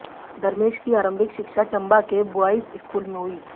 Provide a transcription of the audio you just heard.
धर्मेश की आरंभिक शिक्षा चंबा के ब्वायज स्कूल में हुई